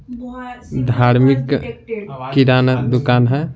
धार्मिक किराना दुकान है।